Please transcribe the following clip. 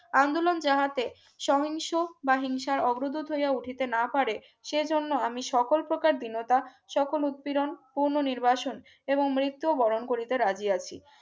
আন্দোলন যাহাতে সহিংস বা হিংসার অগ্রদূত হইয়া উঠেতে না পারে সেজন্য আমি সকল প্রকার দীনতা সকল উত্তিরন কোন নির্বাসন এবং মৃত্যুবরণ করিতে রাজি আছি